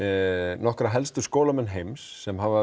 nokkra helstu skólamenn heims sem hafa